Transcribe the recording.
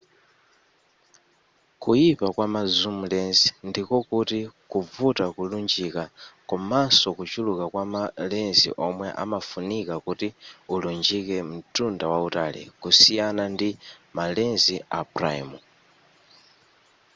kuyipa kwa ma zoom lens ndiko kuti kuvuta kulunjika komaso kuchuluka kwa ma lens omwe amafunika kuti ulunjike mtunda wautali kusiyana ndi ma lens a prime